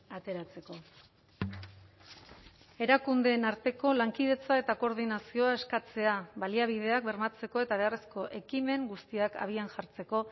ateratzeko erakundeen arteko lankidetza eta koordinazioa eskatzea baliabideak bermatzeko eta beharrezko ekimen guztiak abian jartzeko